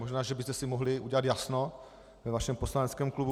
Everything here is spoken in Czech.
Možná že byste si mohli udělat jasno ve svém poslaneckém klubu.